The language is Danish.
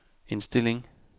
indstilling